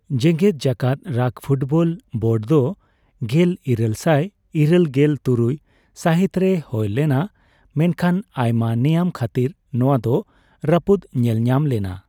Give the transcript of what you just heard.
ᱡᱮᱜᱮᱫ ᱡᱟᱠᱟᱛ rugby football board ᱫᱚ ᱜᱮᱞ ᱤᱨᱟᱹᱞ ᱥᱟᱭ ᱤᱨᱟᱹᱞ ᱜᱮᱞ ᱛᱩᱨᱩᱭ ᱥᱟᱦᱤᱛ ᱨᱮ ᱦᱳᱭ ᱞᱮᱱᱟ, ᱢᱮᱱᱠᱷᱟᱱ ᱟᱭᱢᱟ ᱱᱮᱭᱟᱢ ᱠᱷᱟᱹᱛᱤᱨ ᱱᱚᱣᱟ ᱫᱚ ᱨᱟᱹᱯᱩᱫ ᱧᱮᱞᱧᱟᱢ ᱞᱮᱱᱟ ᱾